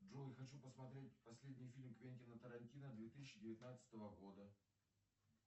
джой хочу посмотреть последний фильм квентина тарантино две тысячи девятнадцатого года